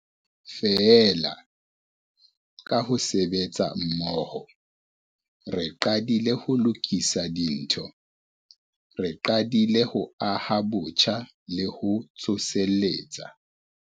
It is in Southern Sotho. Feela, ka ho sebetsa mmoho, re qadile ho lokisa dintho. Re qadile ho aha botjha le ho tsoseletsa.